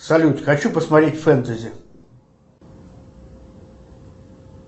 салют хочу посмотреть фентези